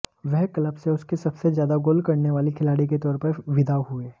वह क्लब से उसके सबसे ज्यादा गोल करने वाले खिलाड़ी के तौर पर विदा हुए